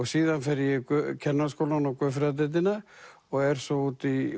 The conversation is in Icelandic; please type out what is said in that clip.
síðan fer ég í kennaraskólann og guðfræðideildina og er svo úti í